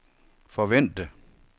forvente